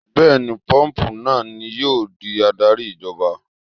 Bẹ́ẹ̀ni, póòpù náà ni yóò di adarí ìjọba